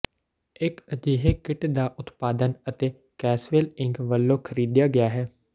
ਇੱਕ ਅਜਿਹੇ ਕਿੱਟ ਦਾ ਉਤਪਾਦਨ ਅਤੇ ਕੈਸਵੈਲ ਇੰਕ ਵੱਲੋਂ ਖਰੀਦਿਆ ਗਿਆ ਹੈ